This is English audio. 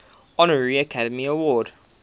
honorary academy award